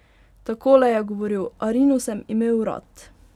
Takole je govoril: 'Arino sem imel rad.